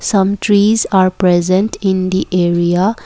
some trees are present in the area.